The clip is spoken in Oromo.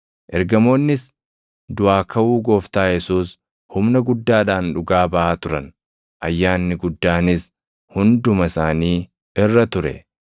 Ergamoonnis duʼaa kaʼuu Gooftaa Yesuus humna guddaadhaan dhugaa baʼaa turan; ayyaanni guddaanis hunduma isaanii irra ture.